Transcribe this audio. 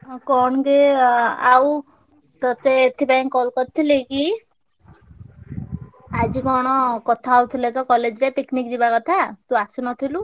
ଆଉ କଣ ଯେ ଆ ଆଉ ତତେ ଏଥିପାଇଁ call କରିଥିଲି କି ଆଜି କଣ କଥା ହଉଥିଲେ ତ college ରେ picnic ଯିବା କଥା ତୁ ଆସିନଥିଲୁ।